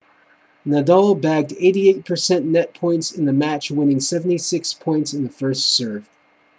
nadal bagged 88% net points in the match winning 76 points in the first serve